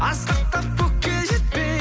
асқақтап көкке жетпей